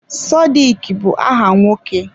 Sodiq bụ áhà nwoke.